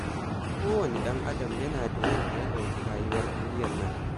Kowane ɗan'adam yana da yadda ya ɗauki rayuwar duniyar nan.